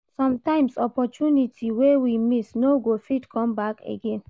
sometimes opportunity wey we miss no go fit comeback again